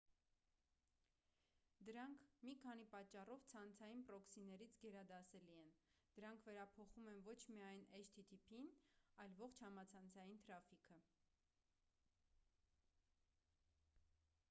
դրանք մի քանի պատճառով ցանցային պրոքսիներից գերադասելի են. դրանք վերափոխում են ոչ միայն http-ն այլ ողջ համացանցային թրաֆիքը: